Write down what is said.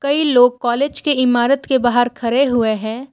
कई लोग कॉलेज के इमारत के बाहर खरे हुए है।